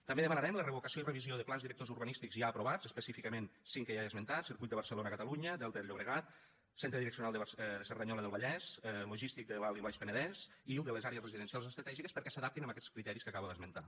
també demanarem la revocació i revisió de plans directors urbanístics ja aprovats específicament cinc que ja he esmentat circuit de barcelona catalunya delta del llobregat centre direccional de cerdanyola del vallès logístic de l’alt i baix penedès i el de les àrees residencials estratègiques perquè s’adaptin a aquests criteris que acabo d’esmentar